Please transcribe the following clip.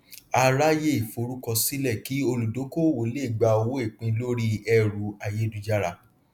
a ráyè forúkọsílẹ kí olùdókòwò lè gba owó ìpín lórí ẹrú ayélujára